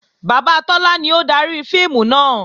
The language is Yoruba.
Bàbá Tọ́lá ni ó dari fíìmù náà